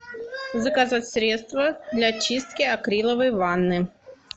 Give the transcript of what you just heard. заказать средство для чистки акриловой ванны